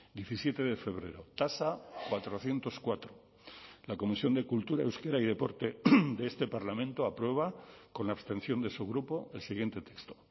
diecisiete de febrero tasa cuatrocientos cuatro la comisión de cultura euskera y deporte de este parlamento aprueba con la abstención de su grupo el siguiente texto